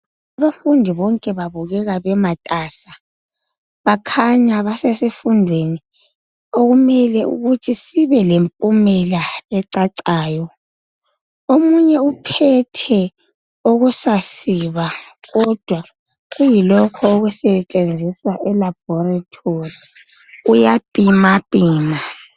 Abafundi bonke babukeka bematasa bakhanya basesifundweni okumele ukuthi sibe lempumela ecacayo. Omunye uphethe okusasiba kodwa kuyilokho okusetshenziswa elaboratory, uyapimapima.